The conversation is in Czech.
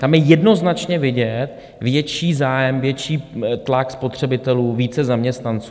Tam je jednoznačně vidět větší zájem, větší tlak spotřebitelů, více zaměstnanců.